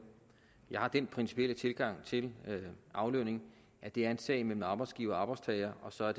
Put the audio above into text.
jeg har den principielle tilgang til aflønning at det er en sag mellem arbejdsgiver og arbejdstager og så er